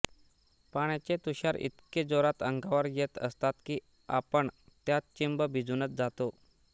पाण्याचे तुषार इतके जोरात अंगावर येत असतात की आपण त्यात चिंब भिजूनच जातो